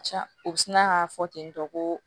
Ca u bɛ sina k'a fɔ tentɔ ko